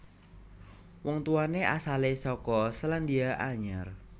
Wong tuwané asalé saka Sélandia Anyar